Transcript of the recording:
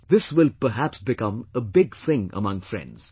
" This will perhaps become a big thing among friends